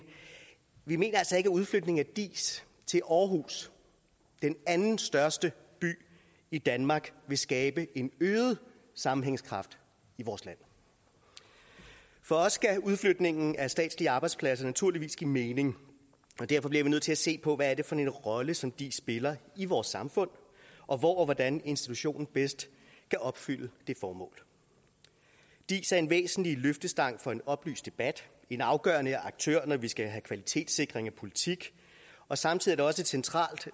vi mener altså ikke at udflytningen af diis til aarhus den andenstørste by i danmark vil skabe en øget sammenhængskraft i vores land for os skal udflytningen af statslige arbejdspladser naturligvis give mening og derfor bliver vi nødt til at se på hvad det er for en rolle som diis spiller i vores samfund og hvor og hvordan institutionen bedst kan opfylde det formål diis er en væsentlig løftestang for en oplyst debat en afgørende aktør når vi skal have kvalitetssikring af politik og samtidig er det også et centralt